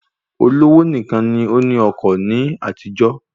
Olówó nìkan ni ó ní ọkọ̀ ní àtijó